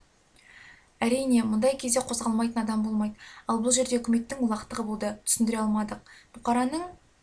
әрине мұндай кезде қозғалмайтын адам болмайды ал бұл жерде үкіметтің олақтығы болды түсіндіре алмадық бұқараның